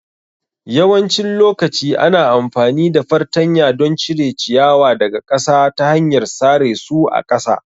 Yawancin lokaci ana amfani da fartanya don cire ciyawa daga ƙasa ta hanyar sare su a ƙasa